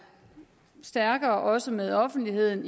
stærkere også med offentligheden